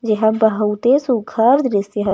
यहाँ बहुते सुग्घर दृश्य है।